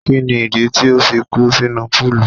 Kí ni ìdí tí o fi kú sínú púùlù?